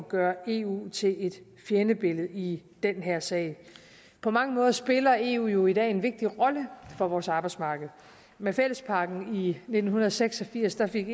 gøre eu til et fjendebillede i den her sag på mange måder spiller eu jo i dag en vigtig rolle for vores arbejdsmarked med fællesakten i nitten seks og firs fik